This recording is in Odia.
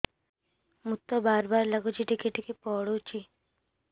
ମୁତ ବାର୍ ବାର୍ ଲାଗୁଚି ଟିକେ ଟିକେ ପୁଡୁଚି